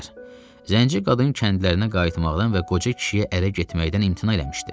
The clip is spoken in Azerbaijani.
Zənci qadın kəndlərinə qayıtmaqdan və qoca kişiyə ərə getməkdən imtina eləmişdi.